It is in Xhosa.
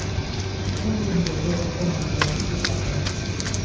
ulindele ukonwabela isigarethi